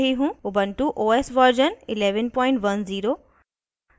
* ubuntu os version 1110